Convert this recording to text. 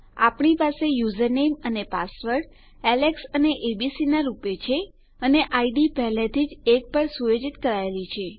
આપણી પાસે યુઝરનેમ અને પાસવર્ડ એલેક્સ અને એબીસી રૂપે છે અને ઇડ પહેલાથી જ 1 પર સુયોજિત કરાયેલી છે